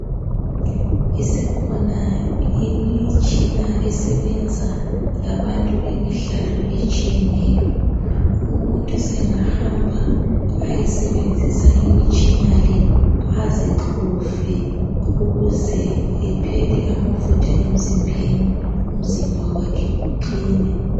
Isikhona imitshina esebenza labantu bemidlalo etshiyeneyo. Umuntu sengahamba ayesebenzisa imitshina le, azixove ukuze ephele amafutha emzimbeni, umzimba wakhe uqine.